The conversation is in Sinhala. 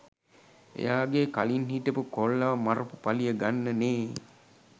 එයාගේ කලින් හිටපු කොල්ලව මරපු පලිය ගන්නනේ